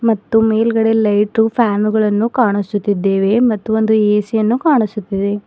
ಮತ್ತು ಮೇಲ್ಗಡೆ ಲೈಟು ಪ್ಯಾನುಗಳನ್ನು ಕಾಣಿಸುತ್ತಿದ್ದೇವೆ ಮತ್ತು ಒಂದು ಎ_ಸಿ ಯನ್ನು ಕಾಣಿಸುತ್ತಿದೆ.